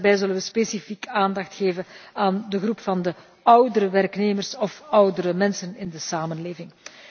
En daarbij zullen wij specifiek aandacht geven aan de groep van oudere werknemers of oudere mensen in de samenleving.